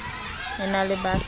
e na le ba sa